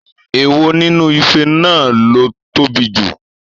Èwo nínú ife náà ló tóbi jù?